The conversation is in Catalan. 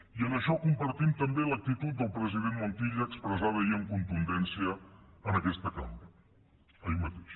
i en això compartim també l’actitud del president montilla expressada ahir amb contundència en aquesta cambra ahir mateix